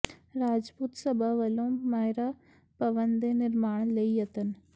ਰਾਜਪੂਤ ਸਭਾ ਵੱਲੋਂ ਮਹਿਰਾ ਭਵਨ ਦੇ ਨਿਰਮਾਣ ਲਈ ਯਤਨ